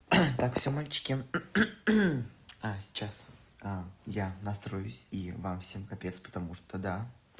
так всё мальчики а сейчас я настроюсь и вам всем конец потому что да